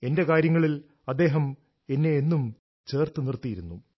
തന്റെ കാര്യങ്ങളിൽ അദ്ദേഹം എന്നെ എന്നും ചേർത്ത് നിർത്തിയിരുന്നു